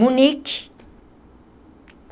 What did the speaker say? Munique.